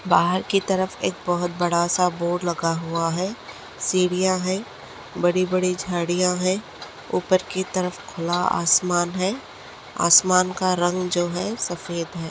बाहर की तरफ एक बहुत बड़ासा बोर्ड लगा हुआ है सीडीया है बड़े बड़े झाड़ीया है उपर की तरफ खुला आसमान है आसमान का रंग जो है सफेद है।